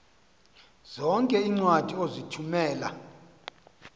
zonke iincwadi ozithumela